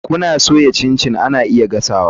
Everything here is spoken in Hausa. Kuna soya chin chin ana iya gasa.